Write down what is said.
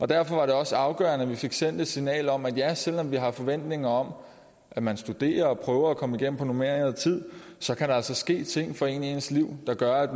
derfor var det også afgørende at vi fik sendt et signal om at ja selv om vi har forventninger om at man studerer og prøver at komme igennem på normeret tid så kan der altså ske ting for en i ens liv der gør at